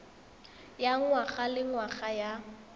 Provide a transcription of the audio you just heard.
ya ngwaga le ngwaga ya